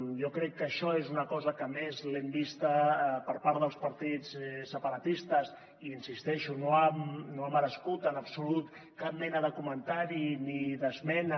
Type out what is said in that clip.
jo crec que això és una cosa que a més l’hem vista per part dels partits separatistes i insisteixo no ha merescut en absolut cap mena de comentari ni d’esmena